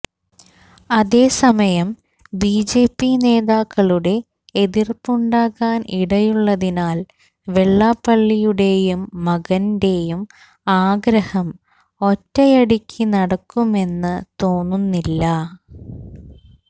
അതേസമയം ബിജെപി നേതാക്കളുടെ എതിർപ്പുണ്ടാകാൻ ഇടയുള്ളതിനാൽ വെള്ളാപ്പള്ളിയുടെയും മകന്റെയും ആഗ്രഹം ഒറ്റയടിക്ക് നടക്കുമെന്ന തോന്നുന്നില്ല